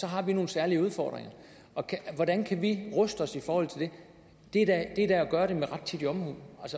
har nogle særlige udfordringer hvordan kan vi ruste os i forhold til det det er da at gøre det med rettidig omhu